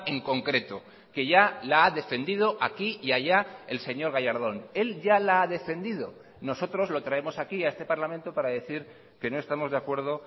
en concreto que ya la ha defendido aquí y allá el señor gallardón él ya la ha defendido nosotros lo traemos aquí a este parlamento para decir que no estamos de acuerdo